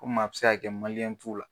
Komi a bi se ka kɛ b'u la.